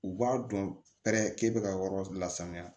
U b'a dɔn pɛrɛ k'e bɛ ka yɔrɔ lasanuya